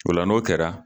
Ola n'o kɛra